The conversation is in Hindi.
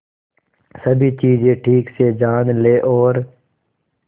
सभी चीजें ठीक से जान ले और